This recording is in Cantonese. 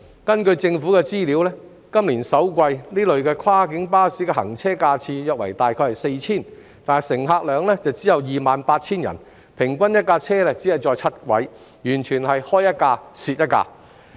根據政府的資料，今年首季，這類跨境巴士的行車架次約為 4,000 次，乘客量只有 28,000 人，平均1輛車只載7人，完全是開一輛蝕一輛。